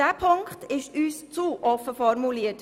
Dieser Punkt ist uns zu offen formuliert.